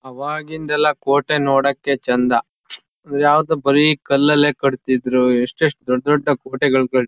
ಅವಾಗಿಂದೆಲ್ಲಾ ಕೋಟೆ ನೋಡಕ್ಕೆ ಚಂದ ಮತ್ ಯಾವ್ದೋ ಬರಿ ಕಲ್ಲಲ್ಲೇ ಕಟ್ ತಿದ್ರು ಎಸ್ಟ್ ಎಷ್ಟ ದೊಡ್ಡ್ ದೊಡ್ಡ್ ಕೋಟೆ ಗಳ್ ಕಟ್ ಗಳ್--